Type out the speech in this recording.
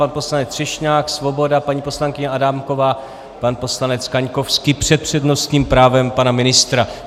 Pan poslanec Třešňák, Svoboda, paní poslankyně Adámková, pan poslanec Kaňkovský před přednostním právem pana ministra.